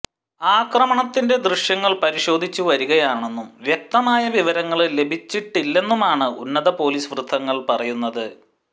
ആക്രമണത്തിന്റെ ദൃശ്യങ്ങള് പരിശോധിച്ച് വരികയാണെന്നും വ്യക്തമായ വിവരങ്ങള് ലഭിച്ചിട്ടില്ലെന്നുമാണ് ഉന്നത പൊലീസ് വൃത്തങ്ങള് പറയുന്നത്